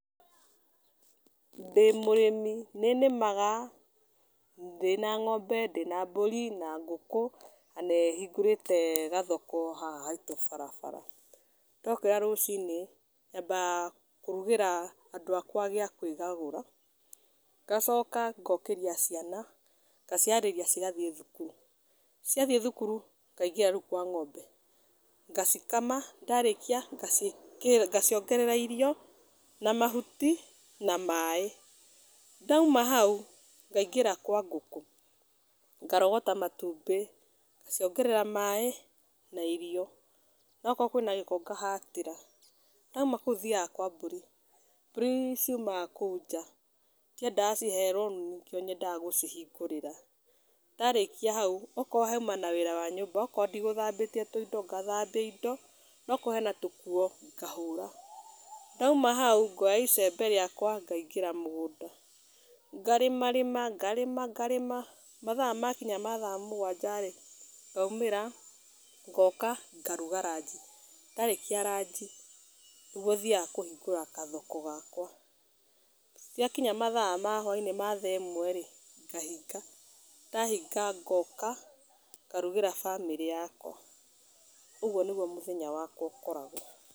Ndĩ mũrĩmi, nĩnĩmaga ndĩ na ng'ombe, ndĩ na mbũri, na ngũkũ na nĩhingũrĩte gathoko haha haitũ barabara. Ndokĩra rũcinĩ, nyambaga kũrugĩra andũ akwa gĩa kwĩgagũra, ngacoka ngokĩria ciana, ngaciharĩria cigathiĩ thukuru. Ciathiĩ thukuru, ngaingĩra rĩu kwa ng'ombe, ngacikama ndarĩkia ngaciongerera irio na mahuti na maĩ. Ndauma hau ngaingĩra kwa ngũkũ, ngarogota matumbĩ, ngaciongerera maĩ na irio. No okorwo kwĩna gĩko ngahatĩra. Ndauma kũu thiaga kwa mbũri. Mbũri ciumaga kũu nja, ndiendaga ciherwo rumu nĩkĩo nyendaga gũcihingũrĩra. Ndarĩkia hau, okorwo hauma na wĩra wa nyũmba, okorwo ndigũthambĩtie tũindo, ngathambia indo, no okorwo hena tũkuo, ngahũra. Ndauma hau ngoya icembe rĩakwa ngaingĩra mũgũnda, ngarĩmarĩma, ngarĩma, ngarĩma, mathaa makinya ma thaa mũgwanja-rĩ ngaumĩra, ngoka ngaruga ranji. Ndarĩkia ranji nĩguo thiaga kũhigũra gathoko gakwa. Ciakinya mathaa ma hwa-inĩ ma thaa ĩmwe-rĩ ngahinga. Ndahinga ngoka ngarugĩra bamĩrĩ yakwa. Ũguo nĩguo mũthenya wakwa ũkoragwo.